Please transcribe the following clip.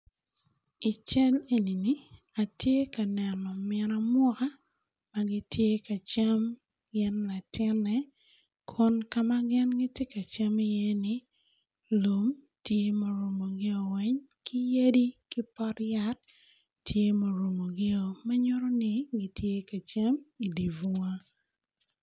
I cal eni-ni, atye ka neno min amuka gitye ka cam gini latine kon ka ma gin giti ka cam iye ni lum tye murumogi weny ki yadi ki pot yat tye murumogi ma nyuti gitye ka cam idi bonga.